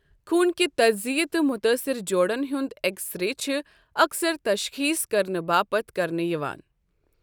خوُنٕكہِ تجزِیہ تہٕ مُتٲصرٕ جوڑَن ہُنٛد ایکس رے چھِ اَکثَر تشخیٖص کرنہٕ باپتھ کرنہٕ یِوان ۔